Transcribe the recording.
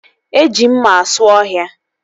Eji mma asụ ọhịa